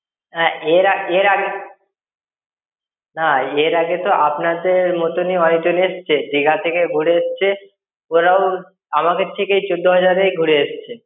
না এর আ~, এর আ~, না এর আগে তো আপনাদের মতন-ই অনেকজন এসেছে। দিঘা থেকে ঘুরে এসেছে। ওরাও আমাদের থেকেই চোদ্দ হাজার এই ঘুরে এসেছে।